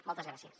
moltes gràcies